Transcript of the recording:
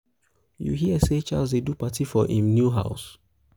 you hear say charles dey do party for im new house